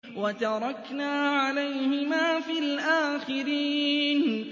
وَتَرَكْنَا عَلَيْهِمَا فِي الْآخِرِينَ